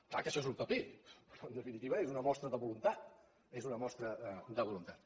clar que això és un paper però en definitiva és una mostra de voluntat és una mostra de voluntat